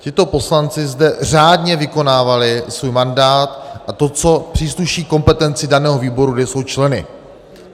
Tito poslanci zde řádně vykonávali svůj mandát a to, co přísluší kompetenci daného výboru, kde jsou členy.